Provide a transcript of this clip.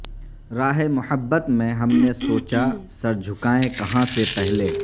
راہ محبت میں ہم نے سوچا سرجھکائیں کہاں سے پہلے